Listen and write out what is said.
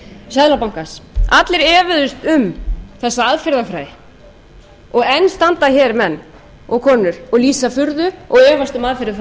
seðlabankans allir efuðust um þessa aðferðafræði og enn standa hér menn og konur og lýsa furðu og efast um aðferðafræðina og ég leyfi mér að